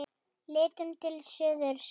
Lítum til suðurs.